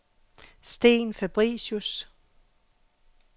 Steen Fabricius